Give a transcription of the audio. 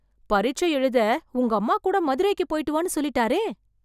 பரிட்சை எழுத, உங்க அம்மா கூட மதுரைக்கு போய்ட்டு வான்னு சொல்லிட்டாரே...